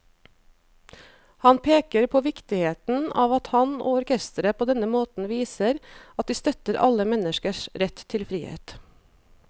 Han peker på viktigheten av at han og orkesteret på denne måten viser at de støtter alle menneskers rett til frihet.